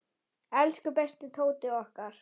Elsku besti Tóti okkar.